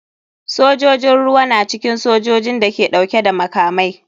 Sojojin ruwa na cikin sojojin da ke dauke da makamai.